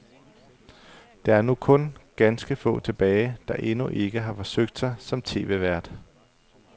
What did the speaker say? Der er nu kun ganske få tilbage, der endnu ikke har forsøgt sig som tv-vært.